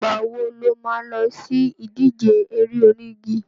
Ìgbà wo lo má lọ sí ìdíje eré onígi?